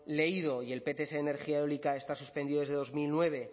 leído y el pts de energía eólica está suspendido desde dos mil nueve